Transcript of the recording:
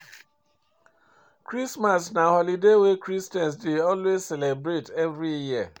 Christmas na holiday wey Christians dey always celebrate every year